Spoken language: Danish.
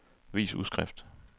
vis udskrift